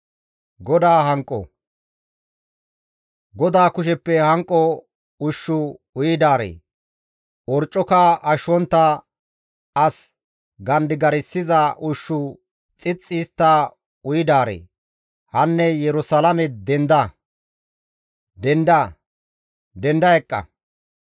GODAA kusheppe hanqo ushshu uyidaaree, orccoka ashshontta, as gandigarssiza ushshu xixxi histta uyidaaree, hanne Yerusalaame denda! denda, denda eqqa!